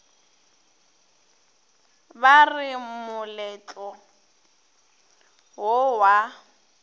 ba re moletlo wo wa